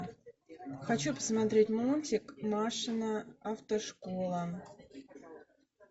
хочу посмотреть мультик машина автошкола